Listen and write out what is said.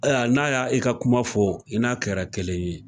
Ayiwa n'a y'a i ka kuma fɔ i n'a kɛra kelen ye.